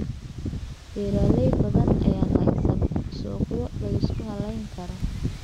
Beeraley badan ayaan haysan suuqyo la isku halayn karo.